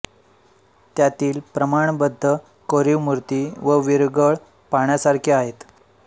त्यातील प्रमाणबद्ध कोरीव मूर्ती व वीरगळ पहाण्यासारखे आहेत